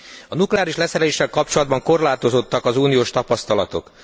A nukleáris leszereléssel kapcsolatban korlátozottak az uniós tapasztalatok.